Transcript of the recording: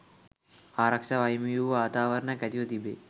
ආරක්ෂාව අහිමිවූ වාතාවරණයක් ඇතිවී තිබේ